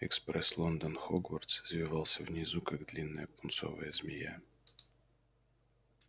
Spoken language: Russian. экспресс лондон хогвартс извивался внизу как длинная пунцовая змея